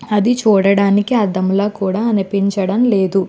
అది చూడడానికి అద్దం లాగా కూడా అనిపించంటం లేదు.